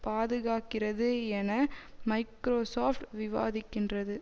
பாதுகாக்கிறது என மைக்ரோசொப்ட் விவாதிக்கின்றது